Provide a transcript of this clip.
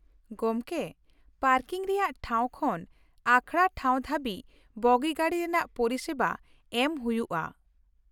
ᱜᱚᱢᱠᱮ, ᱯᱟᱨᱠᱤᱝ ᱨᱮᱭᱟᱜ ᱴᱷᱟᱶ ᱠᱷᱚᱱ ᱟᱠᱷᱲᱟ ᱴᱷᱟᱶ ᱫᱷᱟᱹᱵᱤᱡ ᱵᱚᱜᱤ ᱜᱟᱹᱰᱤ ᱨᱮᱱᱟᱜ ᱯᱚᱨᱤᱥᱮᱵᱟ ᱮᱢ ᱦᱩᱭᱩᱜᱼᱟ ᱾